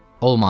Olmaz.